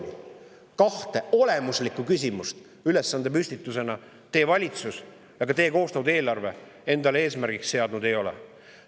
Neid kahte olemuslikku küsimust valitsus tema koostatud eelarves endale eesmärgiks seadnud ei ole.